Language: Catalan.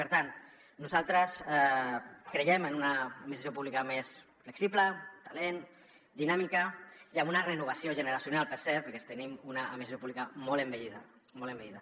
per tant nosaltres creiem en una administració pública més flexible talent dinàmica i amb una renovació generacional per cert perquè sí que tenim una administració pública molt envellida molt envellida